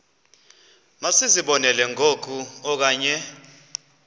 masizibonelele ngoku okanye